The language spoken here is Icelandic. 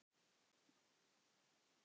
Svart, svart, svart.